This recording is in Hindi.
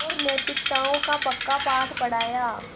और नैतिकताओं का पक्का पाठ पढ़ाया